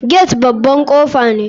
Gate baban kofa ne.